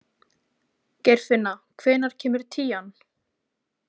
Geirfinna, hvenær kemur tían?